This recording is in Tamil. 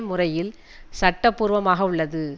முறையில் சட்டபூர்வமாகவுள்ளது